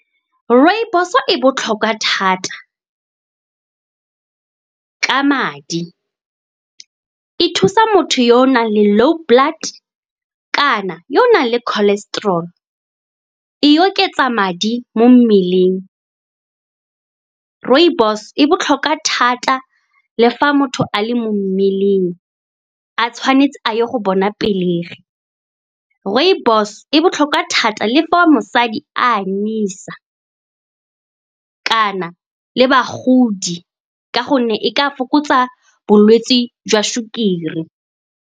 Rooibos-o e botlhokwa thata ka madi. E thusa motho yo o nang le low blood kana yo o nang le cholesterol. E oketsa madi mo mmeleng. Rooibos-o e botlhokwa thata, le fa motho a le mo mmeleng a tshwanetse a ye go bona pelegi. Rooibos e botlhokwa thata le fa mosadi a anyisa kana le bagodi, ka gonne e ka fokotsa bolwetse jwa sukiri.